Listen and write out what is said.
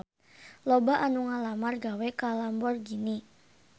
Loba anu ngalamar gawe ka Lamborghini